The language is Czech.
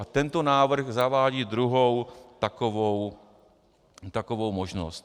A tento návrh zavádí druhou takovou možnost.